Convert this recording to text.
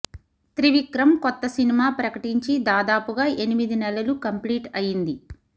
త్రివిక్రమ్ కొత్త సినిమా ప్రకటించి దాదాపుగా ఎనిమిది నెలలు కంప్లీట్ అయ్యింది